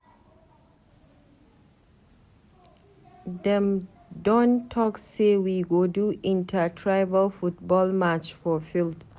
Dem don talk sey we go do inter-tribal football match for field.